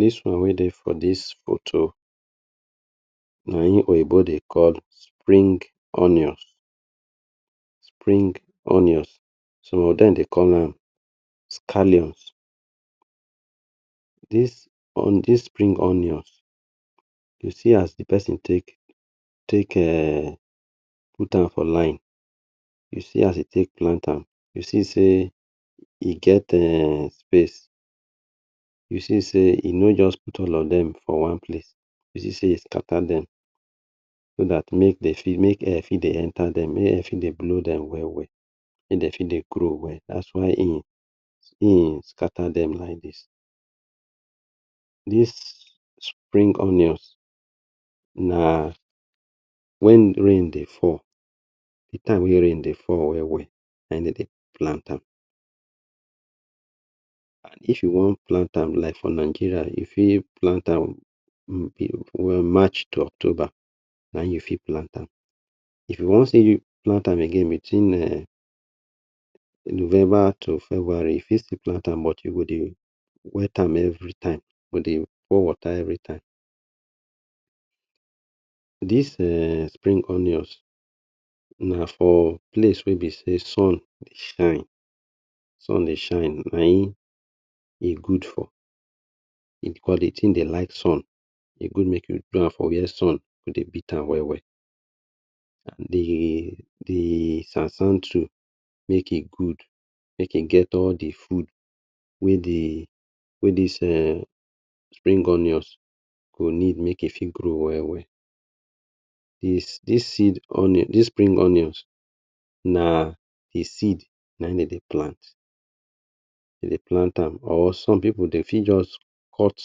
Dis one wey dey for dis foto na in oyibo dey call spring onions, spring onions, some of dem dey call am scallions. Dis spring onions, you see as the pesin take put um am for line you see as e take plant am, you see sey e get space, you see sey e no just put all of dem for one place, you see e skata dem so dat mey air dey fit enter dem, mey de fit dey blow dem well well, mey de fit dey grow well, dat is why im skata dem like dis. Dis spring onions na wen rain dey fall, the time wey rain dey fall well well, na in de dey plant am. If you wan plant am, like for Nigeria you fit plant am march to October, na in you fit plant am. If you want still plant am again bitwin November to February, you fit still plant am but you go dey wet am every time, you go dey por water every time. Dis um spring onions na for place wey be sey sun dey shine, sun dey shine, na in e good for because the tin dey like sun e good make you do am for where sun go dey beat am well well. The sand sand too make e good make e get all the food wey dis spring onions go need make e gro well. Dis spring onions an e seed na in de dey plant, dey plant am or som pipu de fit just cut,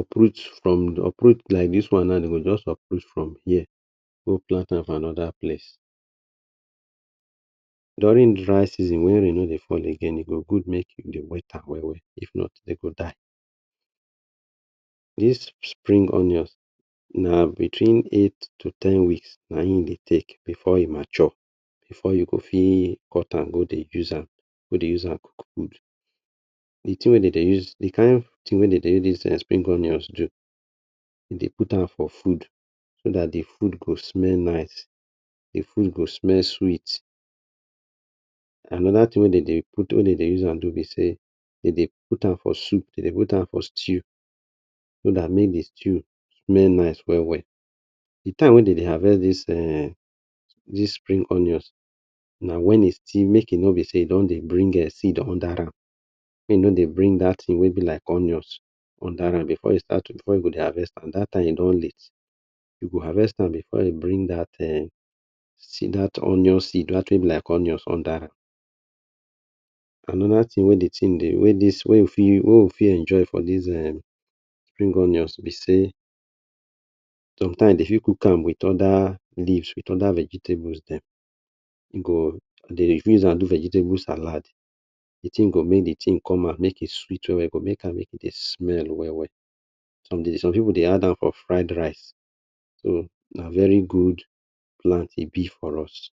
uproot, like dis one na dey go just uproot from here go plant am for anoda place. Durin dry season wey rain no dey fall again, e go good make you dey we am well well, if not e go die. Dis spring onions na bitwin eight to ten weeks na in e dey take before e mature, before you go fit cut am go dey use am for food. The tin wey de dey, the kind tin wey de dey use dis spring onions do, de dey put am for food so dat the food go smell nice, the food go smell sweet. Anoda tin wey de dey use am do be sey, dem dey put am for soup, dem dey put am for stew so dat mey the stew smell nice well well. The time wey dem dey harvest dis spring onions, na wen e still, make e no dey bring seed under am, make e no dey bring dat tin wey be like onions under am, and before you go start dey harvest am, dat time don late, you harvest am before e bring dat seed, onion seed dat tin wey be like union seed under am Anoda tin wey we fit enjoy for dis um spring onions be sey somtime dey fit cook am with oda leaf, oda vegetable dem, de fit use am do vejitable salad the tin go make the thing come out make e sweet well well, make e come out we-we, make the smell come out well well som pipul dey add am for fired rice, so na very gud plant e be for us.